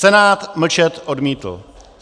Senát mlčet odmítl.